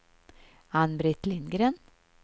Ann-Britt Lindgren